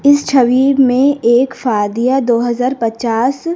इस छवि में एक फादिया दो हजार पचास--